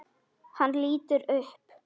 Hann lítur upp.